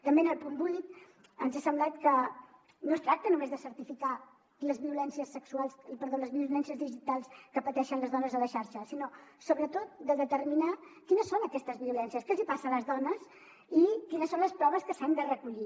també en el punt vuit ens ha semblat que no es tracta només de certificar les violències digitals que pateixen les dones a la xarxa sinó sobretot de determinar quines són aquestes violències què els hi passa a les dones i quines són les proves que s’han de recollir